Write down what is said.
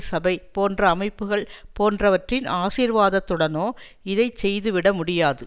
சபை போன்ற அமைப்புகள் போன்றவற்றின் ஆசீர்வாதத்துடனோ இதை செய்துவிட முடியாது